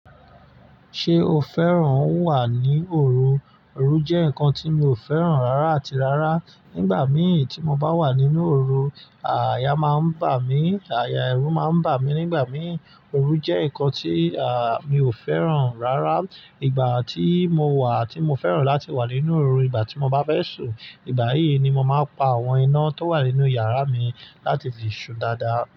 Ṣé o fẹ́ràn wà ní òru? Òru jẹ́ nǹkan tí mi ò fẹ́ràn rárá àti rárá. Nígbà mí tí mo bá wà nínú òru, àyà máa ń bà mí, àyà ẹ̀rù máa ń bà mí nígbà mí. Òru jẹ́ nǹkan tí, mi ò fẹ́ràn rárá. Ìgbà tí mo wà tí mo fẹ́ràn láti wà nínú òru, ìgbà tí mo bá fẹ́ sùn, ìgbà yìí ni mo máa pa àwọn iná tó wà nínú yàrá mi láti fi sùn dáadáa.